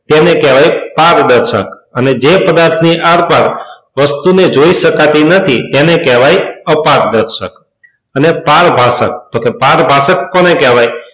જેને કહેવાય પારદર્શક અને જે પદાર્થ ની આરપાર વસ્તુને જોઈ શકાતી નથી એને કહેવાય અપારદર્શક. અને પારભાસક, તો કે પારભાષક કોને કહેવાય?